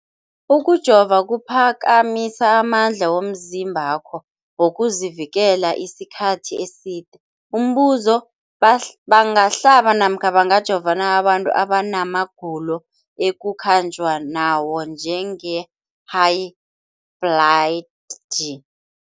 Ukujova kuphakamisa amandla womzimbakho wokuzivikela isikhathi eside. Umbuzo, bangahlaba namkha bangajova na abantu abana magulo ekukhanjwa nawo, njengehayibhladi?